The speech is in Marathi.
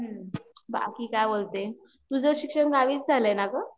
बाकी बाकी काय बोलते, तुझं शिक्षण गावीच झालंय ना ग